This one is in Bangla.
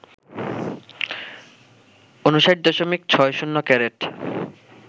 ৫৯.৬০ ক্যারেট